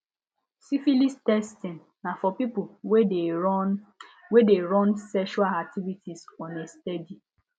syphilis testing na for people wey de run wey de run sexual activity on a steady